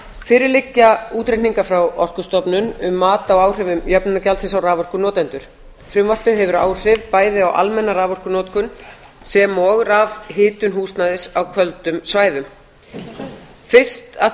fyrir liggja útreikningar frá orkustofnun um mat á áhrifum jöfnunargjaldsins á raforkunotendur frumvarpið hefur áhrif bæði á almenna raforkunotkun sem og rafhitun húsnæðis á köldum svæðum fyrst að